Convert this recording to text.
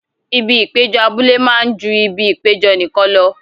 Ibi ìpéjọ abúlé máa ju ibi ìpéjọ nìkan lọ.